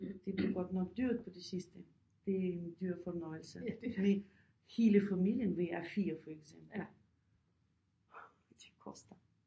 Det bliver godt nok dyrt på det sidste det er en dyr fornøjelse fordi hele familien vi er 4 for eksempel det koster